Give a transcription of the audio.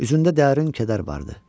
Üzündə dərin kədər vardı.